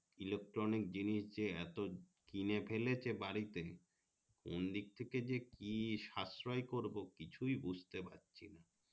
electronic জিনিস যে এতো কিনে ফেলেছে বাড়িতে কোনদিক থেকে যে কি সাশ্রয় করবো কিছুই বুঝতে পারছি না